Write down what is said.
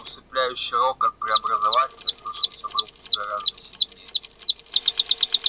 усыпляющий рокот преобразователя слышался в рубке гораздо сильнее